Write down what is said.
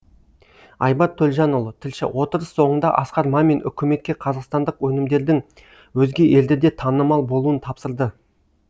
айбар төлжанұлы тілші отырыс соңында асқар мамин үкіметке қазақстандық өнімдердің өзге елдерде танымал болуын тапсырды